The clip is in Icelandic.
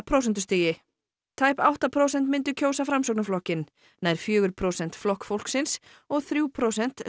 prósentustigi tæp átta prósent myndu kjósa Framsóknarflokkinn nær fjögur prósent Flokk fólksins og þrjú prósent